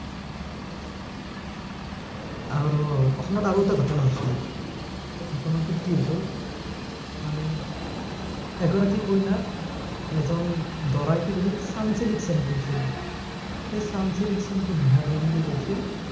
আৰু অসমত আৰু এটা ঘটনা হৈছিল সেই ঘটনাটোত কি হৈছিল মানে এগৰাকী কইনাক, এজন দৰাই কি কৰিল চানচিল্ক shampoo দিছিল সেই চানচিল্ক shampoo দিয়াৰ কাৰণে কি কৰিছিল